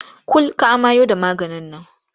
Kul ka amayo da maganin nan!